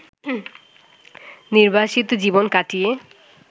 নির্বাসিত জীবন কাটিয়ে